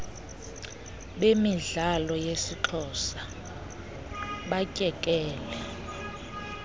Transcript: bemidlalo yesixhosa batyekele